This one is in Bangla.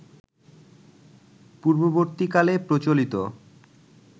পূর্ববর্তীকালে প্রচলিত